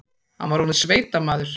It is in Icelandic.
Hann var orðinn sveitamaður.